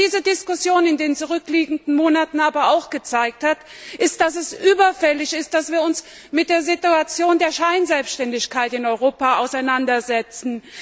Was diese Diskussion in den zurückliegenden Monaten aber auch gezeigt hat, ist, dass es überfällig ist, dass wir uns mit der Situation der Scheinselbständigkeit in Europa auseinandersetzen.